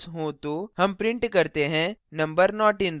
हम print करते हैं number not in range